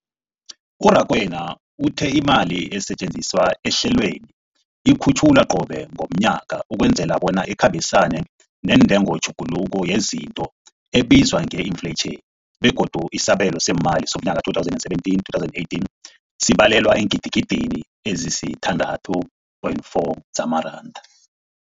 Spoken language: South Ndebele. U-Rakwena uthe imali esetjenziswa ehlelweneli ikhutjhulwa qobe ngomnyaka ukwenzela bona ikhambisane nentengotjhuguluko yezinto ebizwa nge-infleyitjhini, begodu isabelo seemali somnyaka we-2017, 2018 sibalelwa eengidigidini ezisi-6.4 zamaranda.